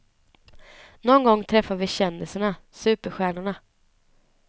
Någon gång träffar vi kändisarna, superstjärnorna.